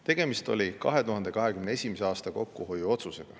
Tegemist oli 2021. aastal tehtud kokkuhoiuotsusega.